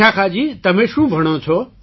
વિશાખાજી તમે શું ભણો છો